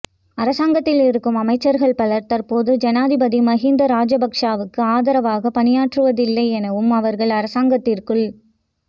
அரசாங்கத்தில் இருக்கும் அமைச்சர்கள் பலர் தற்போது ஜனாதிபதி மகிந்த ராஜபக்ஷவுக்கு ஆதரவாக பணியாற்றுவதில்லை எனவும் அவர்கள் அரசாங்கத்திற்குள்